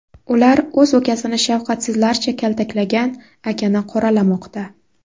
Ular o‘z ukasini shafqatsizlarcha kaltaklagan akani qoralamoqda.